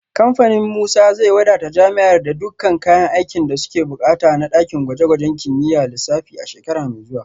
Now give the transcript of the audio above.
Kamfanin Musa zai wadata jami’ar da dukkan kayan aikin da suke bukata na dakin gwaje-gwajen kimiyyar lissafi a shekara mai zuwa